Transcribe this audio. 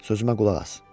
Sözümə qulaq as.